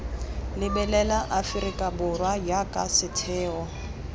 lebelela aforika borwa jaaka setheo